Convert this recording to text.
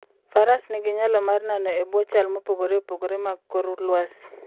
Faras nigi nyalo mar nano e bwo chal mopogore opogore mag kor lwasi.